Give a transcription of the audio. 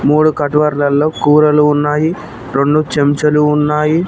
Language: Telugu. మూడు కటివర్లలో కూరలు ఉన్నాయి రెండు చెంచాలు ఉన్నాయి.